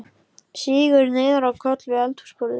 Sígur niður á koll við eldhúsborðið.